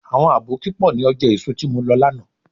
Àwọn àbókí pọ̀ ní ọjà èso tí mo lọ lánàá.